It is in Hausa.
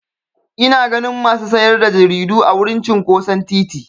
Ina ganin masu sayar da jaridu a wurin cinƙoson titi.